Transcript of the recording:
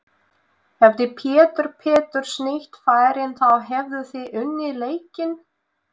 Hefði Pétur Péturs nýtt færin þá hefðuð þið unnið leikinn?